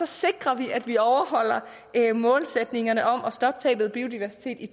sikrer vi at vi overholder målsætningerne om at stoppe tabet af biodiversitet i